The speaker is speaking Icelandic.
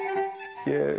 ég